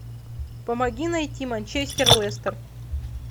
помоги найти манчестер лестер